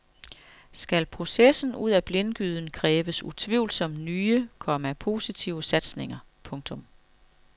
Skal processen ud af blindgyden kræves utvivlsomt nye, komma positive satsninger. punktum